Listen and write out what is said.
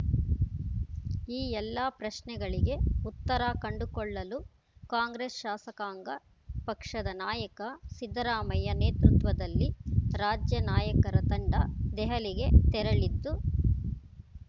ಈ ಎಲ್ಲಾ ಪ್ರಶ್ನೆಗಳಿಗೆ ಉತ್ತರ ಕಂಡುಕೊಳ್ಳಲು ಕಾಂಗ್ರೆಸ್‌ ಶಾಸಕಾಂಗ ಪಕ್ಷದ ನಾಯಕ ಸಿದ್ದರಾಮಯ್ಯ ನೇತೃತ್ವದಲ್ಲಿ ರಾಜ್ಯ ನಾಯಕರ ತಂಡ ದೆಹಲಿಗೆ ತೆರಳಿದ್ದು